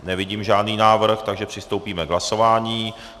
Nevidím žádný návrh, takže přistoupíme k hlasování.